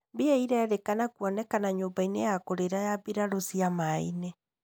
Mbĩa cirerĩka kũonekana nyũmba-inĩ ya kũrĩra ya mbirarũ cia maĩ-inĩ.